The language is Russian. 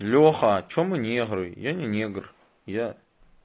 леха что мы негры я не негр я